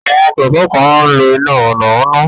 Àwọn kẹ̀kẹ́ kan máa ń lo iná mọ̀nàmọ́ná